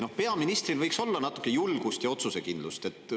Ja peaministril võiks olla natuke julgust ja otsusekindlust.